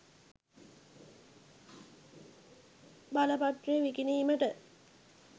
බලපත්‍රය විකිණීමට